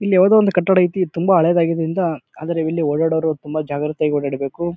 ಇಲ್ಲಿ ಯಾವ್ದೋ ಒಂದ್ ಕಟ್ಟಡ ಐತಿ. ಇದ್ ತುಂಬಾ ಹಳೆದರಾಗಿರುದ್ರಿಂದ ಆದ್ರ ಇಲ್ಲಿ ಓಡಾಡೋರ್ ತುಂಬಾ ಜಾಗೃತೆಯಾಗಿ ಓಡಾಡಬೇಕು.